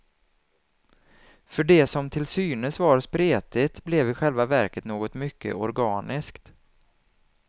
För det som till synes var spretigt blev i själva verket något mycket organiskt.